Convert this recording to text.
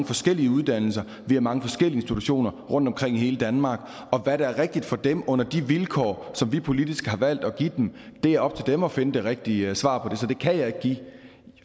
forskellige uddannelser vi har mange forskellige institutioner rundtomkring i hele danmark og hvad der er rigtigt for dem under de vilkår som vi politisk har valgt at give dem er op til dem at finde det rigtige svar på så det kan jeg ikke give